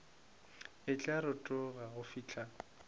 e tla rotoga go fihla